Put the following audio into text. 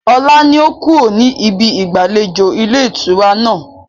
Ọlá ni ó kúrò ní ibí ìgbàlejò ilé ìtura náà.